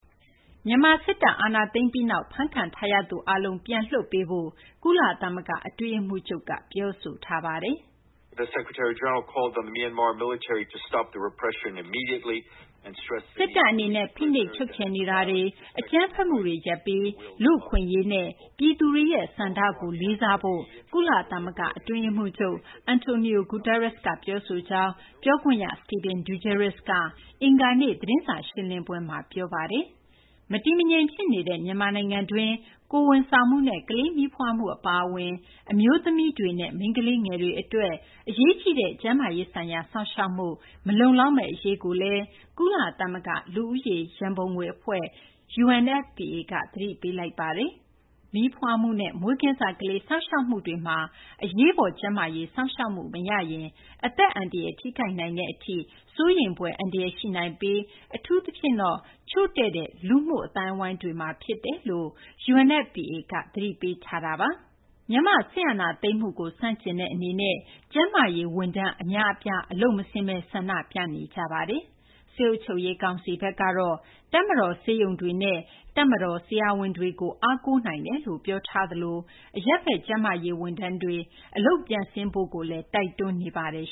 မြန်မာ စစ်တပ်က အာဏာသိမ်းပြီးနောက် ဖမ်းခံထားရသူ အားလုံး ပြန်လွှတ်ပေးဖို့ ကုလသမဂ္ဂ အတွင်းရေးမှူးချုပ်က ပြောဆိုထားပါတယ်။ "စစ်တပ် အနေနဲ့ ဖိနှိပ်ချုပ်ချယ်နေတာတွေ၊ အကြမ်းဖက်မှုတွေ ရပ်ပြီး လူ့အခွင့်အရေးနဲ့ ပြည်သူတွေရဲ့ ဆန္ဒကို လေးစားဖို့လည်း" ကုလသမဂ္ဂ အတွင်းရေးမှူးချုပ် Antonio Guterres က ပြောဆိုကြောင်း ပြောခွင့်ရ Stéphane Dujarric က အင်္ဂါနေ့ သတင်းစာ ရှင်းလင်းပွဲမှာ ပြောဆိုခဲ့တာ ဖြစ်ပါတယ်။ မတည်မငြိမ် ဖြစ်နေတဲ့ မြန်မာ နိုင်ငံတွင်း ကိုယ်ဝန်ဆောင်မှုနဲ့ ကလေးမီးဖွားမှု အပါအဝင် အမျိုးသမီးတွေနဲ့ မိန်းကလေးငယ်တွေ အတွက် အရေးကြီးတဲ့ ကျန်းမာရေးဆိုင်ရာ စောင့်ရှောက်မှု မလုံလောက်မယ့် အရေးကိုလည်း ကုလသမဂ္ဂ လူဦးရေ ရန်ပုံငွေ အဖွဲ့ UNFPA က သတိပေးလိုက်ပါတယ်။ မီးဖွားမှုနဲ့ မွေးကင်းစ ကလေးစောင့်ရှောက်မှုတွေမှာ အရေးပေါ် ကျန်းမာရေး စောင့်ရှောက်မှု မရရင် အသက်အန္တရာယ် ထိခိုက်နိုင်တဲ့ အထိ စိုးရိမ်ဖွယ် အန္တရာယ် ရှိနိုင်ပြီး အထူးသဖြင့်တော့ ချို့တဲ့တဲ့ လူမှု အသိုင်းအဝိုင်းတွေမှာ ဖြစ်တယ်လို့ UNFPA က သတိပေးထားပါတယ်။ မြန်မာ့ စစ်အာဏာသိမ်းမှုကို ဆန့်ကျင်တဲ့ အနေနဲ့ ကျန်းမာရေး ဝန်ထမ်းအများအပြား အလုပ်မဆင်းဘဲ ဆန္ဒပြနေကြတာပါ။ စစ်အုပ်ချုပ်ရေးကောင်စီကတော့ တပ်မတော် ဆေးရုံတွေနဲ့ တပ်မတော် ဆရာဝန်တွေကို အားကိုးနိုင်တယ်လို့ ပြောထားသလို အရပ်ဘက် ကျန်းမာရေး ဝန်ထမ်းတွေ အလုပ်ပြန်ဆင်းရေးလည်း တိုက်တွန်းနေပါတယ်